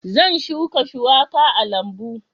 Zan shuka shuwaka a lambu